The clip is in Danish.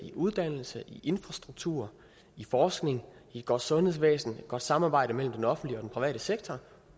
i uddannelse i infrastruktur i forskning i et godt sundhedsvæsen i et godt samarbejde mellem den offentlige og den private sektor